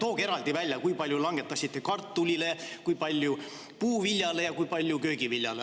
Tooge eraldi välja, kui palju langetasite kartulile, kui palju puuviljale ja kui palju köögiviljale.